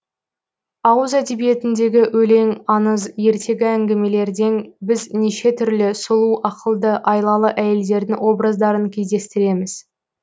ауыз әдебиетіндегі өлең аңыз ертегі әңгімелерден біз неше түрлі сұлу ақылды айлалы әйелдердің образдарын кездестіреміз